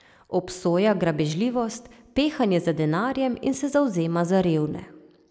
Obsoja grabežljivost, pehanje za denarjem in se zavzema za revne.